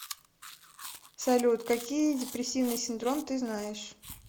салют какие депрессивный синдром ты знаешь